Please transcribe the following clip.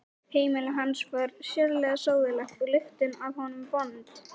Heimili hans var sérlega sóðalegt og lyktin af honum vond.